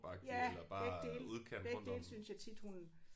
Ja begge dele begge dele synes jeg tit hun